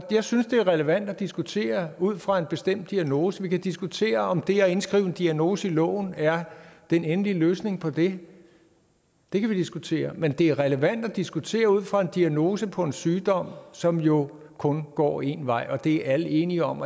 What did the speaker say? jeg synes det er relevant at diskutere ud fra en bestemt diagnose vi kan diskutere om det at indskrive en diagnose i loven er den endelige løsning på det det kan vi diskutere men det er relevant at diskutere ud fra en diagnose på en sygdom som jo kun går én vej det er alle enige om